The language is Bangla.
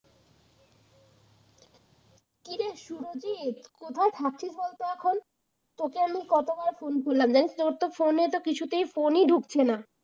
কিরে সুরজিৎ কোথায় থাকছিস বলতো এখন? তোকে আমি কতবার ফোন করলাম জানিস তো, তোর তো ফোনে কিছুতেই ফোন ঢুকছে না